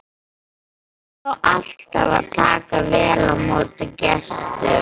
Það á alltaf að taka vel á móti gestum.